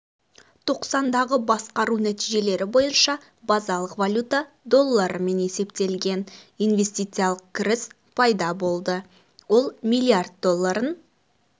тоқсандағы басқару нәтижелері бойынша базалық валюта долларымен есептелген инвестициялық кіріс пайда болды ол миллиард долларын